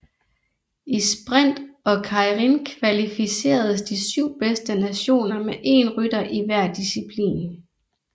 I sprint og keirin kvalificeres de 7 bedste nationer med én rytter i hver disciplin